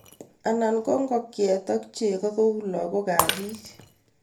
Anan ko ngokyet ak chego kou lagokab bik